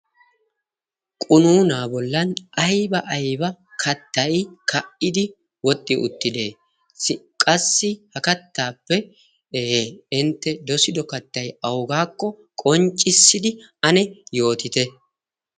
qunuunaa bollan aiba aiba kattai ka77idi woxxi uttide s qassi ha kattaappe ee intte dosido kattai augaakko qonccissidi ane yootite?